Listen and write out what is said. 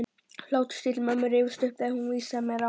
Og hláturstíst mömmu rifjast upp þegar hún vísaði mér á